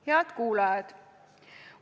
Head kuulajad!